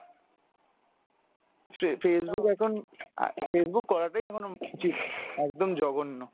ফে~ Facebook এখন অ্যাঁ Facebook করাটাই এখন উচিৎ একদম জঘন্য।